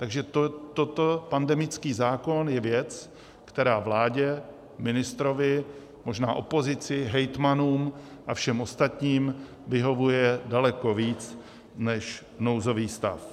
Takže toto, pandemický zákon, je věc, která vládě, ministrovi, možná opozici, hejtmanům a všem ostatním vyhovuje daleko víc než nouzový stav.